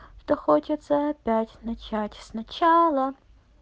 что хочется опять начать сначала